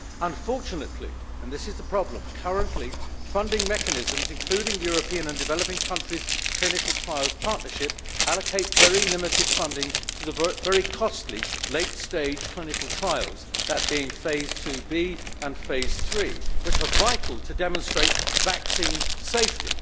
Unfortunately and this is the problem currently funding mechanisms, including the European and Developing Countries Clinical Trials Partnership, allocate very limited funding to the very costly late stage clinical trials phase 2B and phase 3 which are vital to demonstrate vaccine safety.